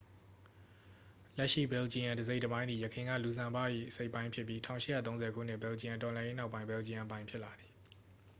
လက်ရှိဘယ်လ်ဂျီယမ်တစ်စိတ်တစ်ပိုင်းသည် ယခင်က လူဇမ်ဘော့၏ အစိတ်အပိုင်းဖြစ်ပြီး 1830 ခုနှစ် ဘယ်လ်ဂျီယမ်တော်လှန်ရေးနောက်ပိုင်း ဘယ်လ်ဂျီယမ်အပိုင်ဖြစ်လာသည်